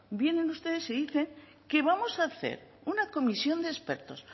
vienen ustedes y dicen que vamos a hacer una comisión de expertos